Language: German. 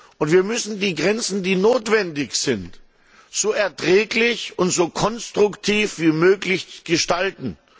Und wir müssen die Grenzen, die notwendig sind, so erträglich und so konstruktiv wie möglich gestalten.